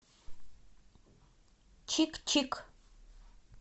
чик чик